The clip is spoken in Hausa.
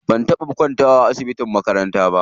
Ban taɓa kwantawa a asibitin makaranta ba.